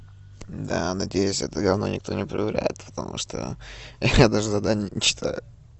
да надеюсь это говно никто не проверяет потому что я даже задание не читаю